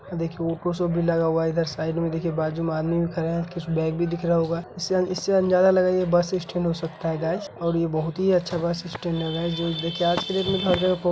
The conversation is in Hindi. देखिए भी लगा हुआ है इधर साइड में देखिए बाजू में आदमी भी खड़ा हैं कुछ बेग भी दिख रहा होगा इसे इससे अंदाज़ा लगया ये बस स्टेंड हो सकता है गायस और यह बहुत ही अच्छा बस स्टैंड है गाइस जो कि देखिए आज के डेट में हर जग --